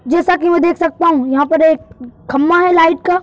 जैसा कि मैं देख सकता हूं यहाँ पर एक खम्भा है लाइट का।